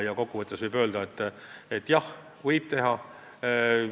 Ja kokku võttes võib öelda, et jah, nii võib teha.